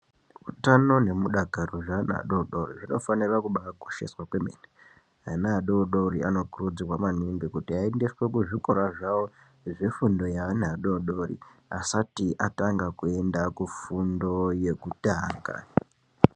Hutano ne mudakaro zve ana adodori zvino fanira kubai kosheswa kwemene ana adodori ano kurudzirwa maningi kuti ayendeswe ku zvikora zvawo zve fundo ye ana adodori asati atanga kuenda ku fundo yekutanga.